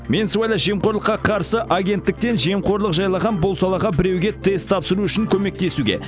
мен сыбайлас жемқорлыққа қарсы агенттіктен жемқорлық жайлаған бұл салаға біреуге тест тапсыру үшін көмектесуге